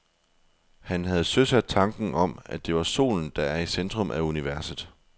Han havde søsat tanken om, at det er solen, der er i centrum af universet.